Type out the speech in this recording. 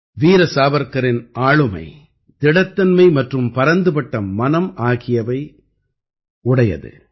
வீர சாவர்க்கரின் ஆளுமை திடத்தன்மை மற்றும் பரந்துபட்ட மனம் ஆகியவை நிரம்பியது